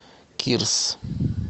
кирс